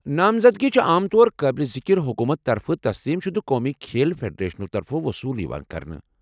نامزدگی چھ عام طور قٲبل ذکر حکومت طرفہٕ تسلیم شُدٕ قومی کھیل فیڈریشنو طرفہٕ وصول یوان کرنہٕ۔